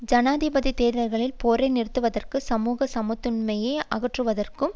ஜனாதிபதி தேர்தல்களில் போரை நிறுத்துவதற்கும் சமூக சமத்துவின்மையை அகற்றுவதற்கும்